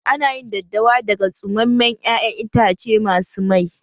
Ana yin daddawa daga tsumammen ƴaƴan itace masu mai